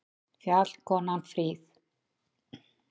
Fjallkonan fríð!